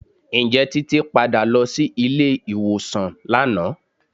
Ǹjẹ́ Títí padà lọ sí ilé ìwòsàn lánàá?